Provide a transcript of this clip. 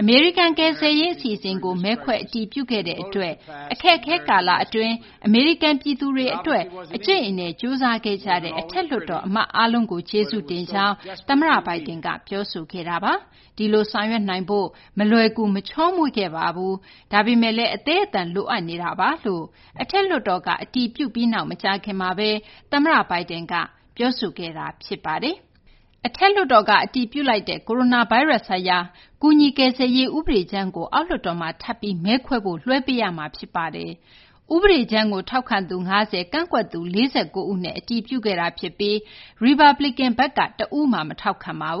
အမေရိကန် ကယ်ဆယ်ရေး အစီအစဉ်ကို မဲခွဲ အတည်ပြုခဲ့တဲ့ အတွက်၊ အခက်အခဲ ကာလ အတွင်း အမေရိကန် ပြည်သူတွေ အတွက် အကြိတ်အနယ် ကြိုးစားခဲ့ကြတဲ့ အထက်လွှတ်တော် အမတ်အားလုံးကို ကျေးဇူးတင်ကြောင်း သမ္မတ Biden က ပြောဆိုခဲ့တာပါ။ ဒီလို ဆောင်ရွက်နိုင်ဖို့ မလွယ်ကူ မချောမွေ့ခဲ့ပါဘူး။ ဒါပေမယ့်လည်း အသည်းအသန် လိုအပ်နေတာပါလို့ အထက်လွှတ်တော်က အတည်ပြုပြီးနောက် မကြာခင်မှာဘဲ သမ္မတ Biden က ပြောဆိုခဲ့တာပါ။ အထက်လွှတ်တော်က အတည်ပြုလိုက်တဲ့ ကိုရိုနာဗိုင်းရပ်စ် ဆိုင်ရာ ကူညီ ကယ်ဆယ်ရေး ဥပဒေကြမ်းကို အောက်လွှတ်တော်မှာ ထပ်ပြီး မဲခွဲဖို့ လွှဲပေးရမှာ ဖြစ်ပါတယ်။ ဥပဒေကြမ်းကို ထောက်ခံသူ ၅၀- ကန့်ကွက်သူ ၄၉ ဦးနဲ့ အတည်ပြုခဲ့တာ ဖြစ်ပြီး ရီပတ်ပလီကန် ဘက်က တဦးမှ မထောက်ခံခဲ့ပါဘ